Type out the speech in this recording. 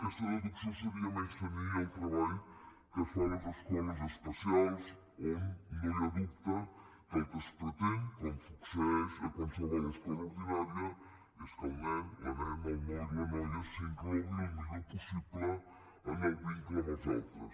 aquesta deducció seria menystenir el treball que es fa a les escoles especials on no hi ha dubte que el que es pretén com succeeix a qualsevol escola ordinària és que el nen la nena el noi la noia s’inclogui el millor possible en el vincle amb els altres